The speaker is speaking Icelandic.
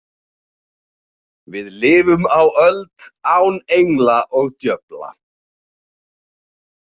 Við lifum á öld án engla og djöfla.